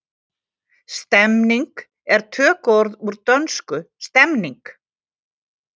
Stemning er tökuorð úr dönsku stemning.